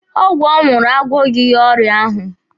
Ọgwụ ọ ṅụrụ agwọghị ya ọrịa ahụ.